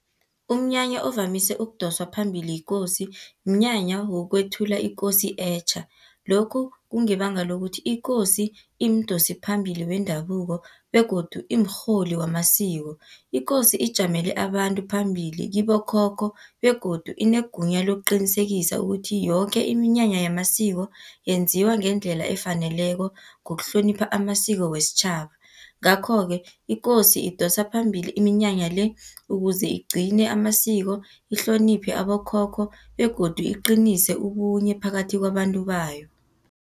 Umnyanya ovamise ukudoswa phambili yikosi, mnyanya wokwethula ikosi etjha. Lokhu kungebanga lokuthi ikosi imdosiphambili wendabuko, begodu imrholi wamasiko. Ikosi ijamele abantu phambili, kibokhokho begodu inegunya lokuqinisekisa ukuthi yoke iminyanya yamasiko, yenziwa ngendlela efaneleko, ngokuhlonipha amasiko wesitjhaba. Ngakho-ke ikosi idosa phambili iminyanya le, ukuze igcine amasiko, ihloniphe abokhokho begodu iqinise ubunye phakathi kwabantu bayo.